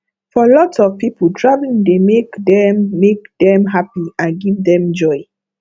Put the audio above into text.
for lot of people traveling dey make dem make dem happy and give dem joy